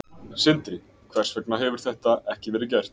Sindri: Hvers vegna hefur þetta ekki verið gert?